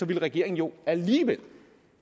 ville regeringen jo alligevel